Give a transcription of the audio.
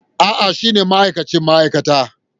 A'a, shine ma'aikacin ma'aikata.